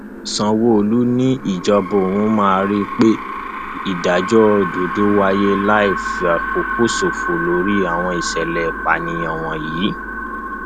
sanwóolu ni ìjọba òun máa rí i pé ìdájọ òdodo wáyé láì fàkókò ṣòfò lórí àwọn ìṣẹlẹ ìpànìyàn wọnyí